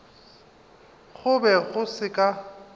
go be go se ka